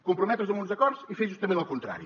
comprometre’s amb uns acords i fer justament el contrari